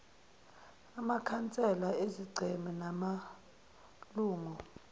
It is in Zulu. amakhansela ezigceme namalungu